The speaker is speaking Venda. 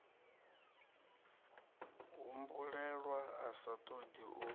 humbulelwa a sa ṱoḓi u